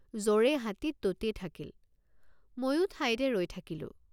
যৰে হাতী ততেই থাকিল ময়ো ঠাইতে ৰৈ থাকিলোঁ।